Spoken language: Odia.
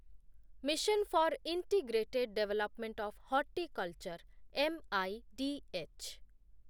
mission for integrated development of horticulture , M I D H